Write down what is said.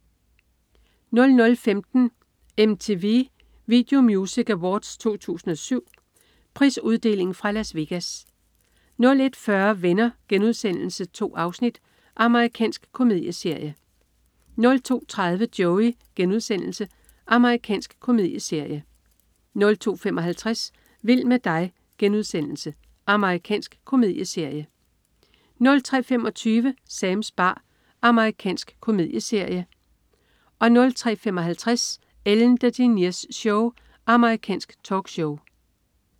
00.15 MTV Video Music Awards 2007. Prisuddeling fra Las Vegas 01.40 Venner.* 2 afsnit. Amerikansk komedieserie 02.30 Joey.* Amerikansk komedieserie 02.55 Vild med dig.* Amerikansk komedieserie 03.25 Sams bar. Amerikansk komedieserie 03.55 Ellen DeGeneres Show. Amerikansk talkshow